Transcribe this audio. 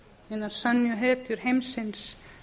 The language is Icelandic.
hinar sönnu hetjur heimsins